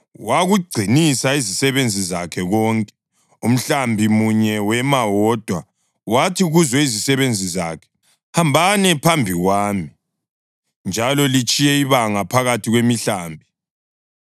Wakugcinisa izisebenzi zakhe konke, umhlambi munye wema wodwa, wathi kuzo izisebenzi zakhe, “Hambani phambi kwami, njalo litshiye ibanga phakathi kwemihlambi.”